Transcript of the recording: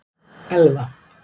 Elva